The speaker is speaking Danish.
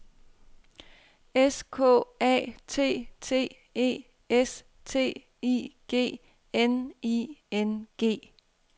S K A T T E S T I G N I N G